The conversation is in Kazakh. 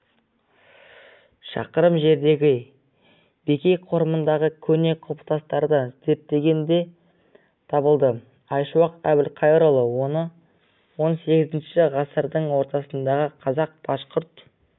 шақырым жердегі бекей қорымындағы көне құлпытастарды зерттегенде табылды айшуақ әбілқайырұлы он сегізінші ғасырдың ортасындағы қазақ-башқұрт